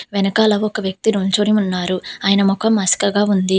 వెనకాల ఒక వ్యక్తి నుంచొని ఉన్నారు ఆయన మొఖం మస్కగా ఉంది.